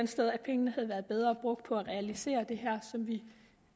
sted at pengene havde været bedre brugt på at realisere det her som vi